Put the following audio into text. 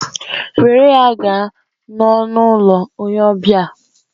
Were ya gaa n'ọnụ ụlọ onye ọbịa!